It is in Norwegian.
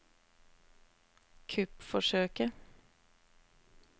kuppforsøket